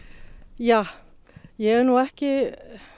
ja ég er nú ekki